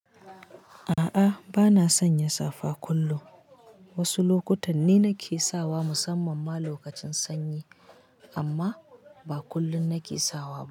A'a bana son yin safa kullum. Wasu lokutan ne nake sawa musamman ma lokacin sanyi amma ba kullum nake sawa.